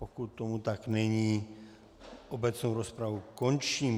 Pokud tomu tak není, obecnou rozpravu končím.